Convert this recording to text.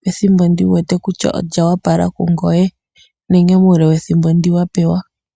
pethimbo ndi wu wete kutya olya opala kungoye nenge muule wethimbo ndi wa pewa.